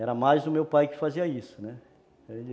Era mais o meu pai que fazia isso, né.